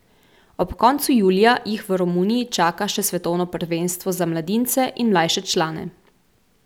Ob koncu julija jih v Romuniji čaka še svetovno prvenstvo za mladince in mlajše člane.